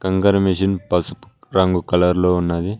కంకర మిషన్ పసుపు రంగు కలర్ లో ఉన్నది.